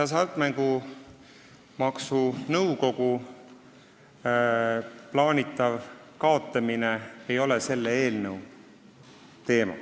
Hasartmängumaksu Nõukogu plaanitav kaotamine ei ole selle eelnõu teema.